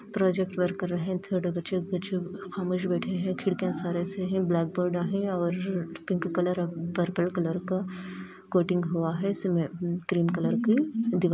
इसमें project work कर रहे हैं छोटे बच्चे नीचे बैठे हैं खिड़कियाँ हैं ब्लैक बोर्ड है और पिंक कलर पर्प कलर का कोचिंग हुआ है इसमें ग्रीन कलर की दिवार --